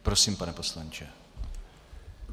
Prosím, pane poslanče.